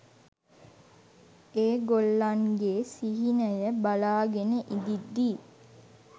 ඒගොල්ලන්ගේ සිහිනය බලාගෙන ඉඳිද්දී